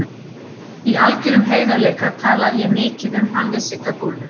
Í algjörum heiðarleika talaði ég mikið um hann við Sigga Dúllu.